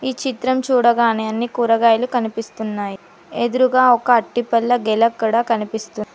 ఈ చిత్రం చూడగానే అన్ని కూరగాయలు కనిపిస్తున్నాయ్ ఎదురుగా ఒక అట్టి పల్లె గెలక్కడా కనిపిస్తుం--